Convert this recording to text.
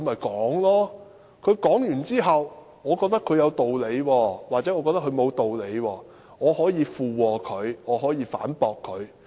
他發言完畢後，我覺得他有道理或沒有道理，我可以附和或反駁他。